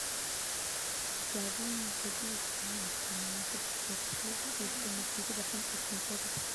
Tijaabooyin dhiig ayaa la sameeyaa saddex jeer si loo xaqiijiyo natiijada xun ee coronavirus.